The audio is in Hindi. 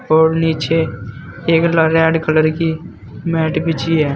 और नीचे एक ल रेड कलर की मैट बिछी है।